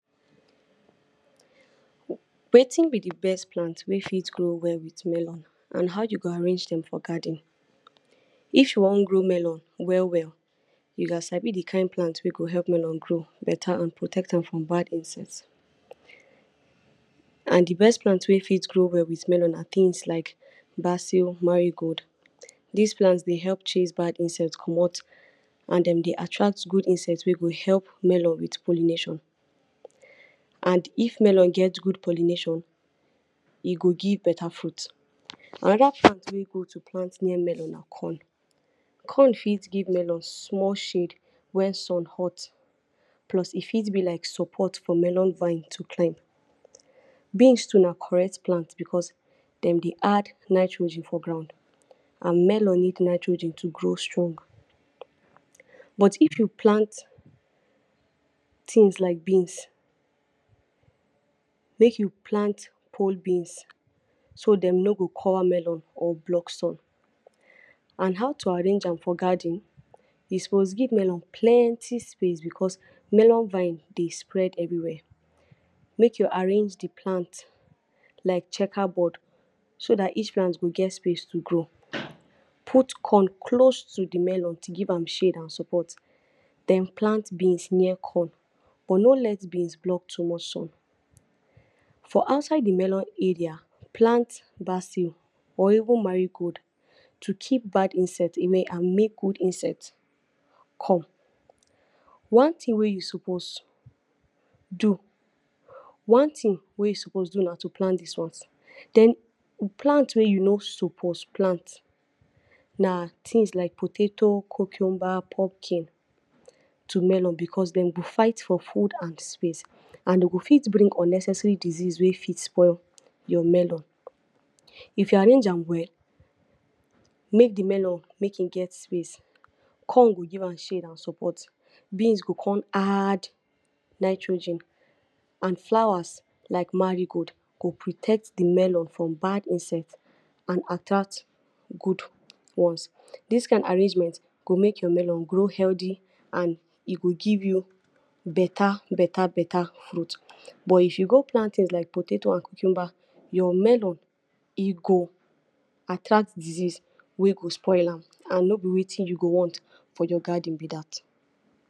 Wetin be de best plant wey fit grow well with melon and how you go arrange dem for garden. If you want grow melon well well, you gats sabi de kind plant wey go help melon grow beta and protect am grom wild insects. And de best plants wey fit grow well with melon na things like basil, marigold. Dis plants dey help chase bad insects comot and dem dey attract good insects wey go help melon with pollination and if melon get god pollination, e go give beta fruit. Another plant wey good to plant near melon na corn, corn fit give melon small shade when sun hot plus e fit be like support for melon vine to climb. Beans too na correct plant becos dem dey add nitrogren for ground and melon need nitrogen to grow strong, but if you plants things like beans, make you plant poll beans so dem no go cover melon or block sun. And how to arrange am for garden, you suppose give melon plenty space becos melon vines dey spread everywhere. Make you arrange de plant like checker board so dat each plant go get space to grow. Put corn close to de melon to give am shade and support den plant beans near corn but no let beans block too much sun. For outside de melon area, plant basil or even marigold to keep bad insect away and make good insect come. One thing wey you suppose do, one thing wey you suppose do na to plant dis ones. Den plant wey you no suppose plant na things like potatoes, cucumber, pumpkin to melon becos dey go fight for food and space and dey go fit bring unnecessary disease wey fit spoil your melon. If you arrange am well, make de melon, make im get space, corn go give am shade and support, beans go come add nitrogen and flowers like marigold go protect de melon from bad insect and attract good ones. Dis kind arrangement go make your melon grow healthy and e go give you beta beta beta fruit, but if you go plant things like potatoes and cucumber, your melon, e go attract disease wey go spoil am and no be wetin you go want for your garden be dat.